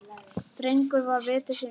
Drengur var viti sínu fjær.